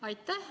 Aitäh!